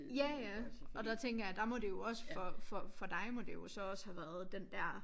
Ja ja og der tænker jeg der må det jo også for for for dig må det jo så også have været den dér